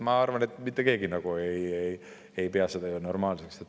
Ma arvan, et mitte keegi ei peaks seda normaalseks.